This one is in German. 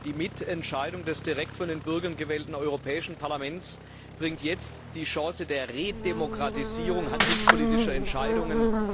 Die Mitentscheidung des direkt von den Bürgern gewählten Europäischen Parlaments bringt jetzt die Chance der Redemokratisierung handelspolitischer Entscheidungen.